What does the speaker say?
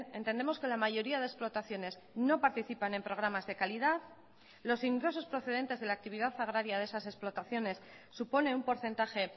entendemos que la mayoría de explotaciones no participan en programas de calidad los ingresos procedentes de la actividad agraria de esas explotaciones supone un porcentaje